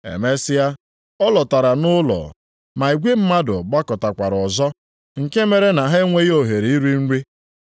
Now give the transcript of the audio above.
Emesịa, ọ lọtara nʼụlọ, ma igwe mmadụ gbakọtakwara ọzọ nke mere na ha enweghị ohere iri nri.